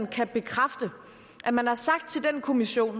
kan bekræfte at man har sagt til den kommission